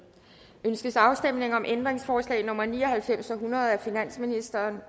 ønskes afstemning om ændringsforslag nummer ni og halvfems og hundrede af finansministeren